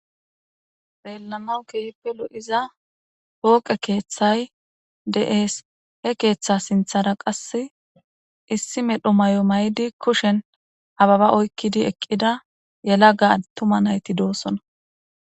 belanawu keehppelo7iza pooqe keeththay de7ees he keeththa sinthara qas issi medho may7o may7di kushen ababa oykkidi eqqida yelaga attuma nayti doosona